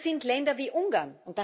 Das sind Länder wie Ungarn.